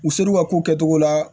U ser'u ka ko kɛcogo la